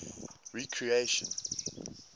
recreation